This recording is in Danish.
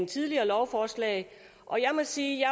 tidligere lovforslag og jeg må sige